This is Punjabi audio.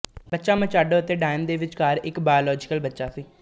ਬੱਚਾ ਮਚਾਡੋ ਅਤੇ ਡਾਇਨ ਦੇ ਵਿਚਕਾਰ ਇੱਕ ਬਾਓਲੋਜਿਕਲ ਬੱਚਾ ਹੈ